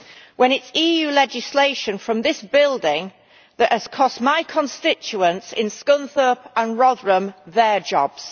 when it is EU legislation from this building that has cost my constituents in Scunthorpe and Rotherham their jobs.